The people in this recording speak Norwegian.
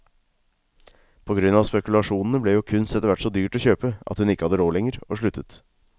På grunn av spekulasjonene ble jo kunst etterhvert så dyrt å kjøpe at hun ikke hadde råd lenger og sluttet.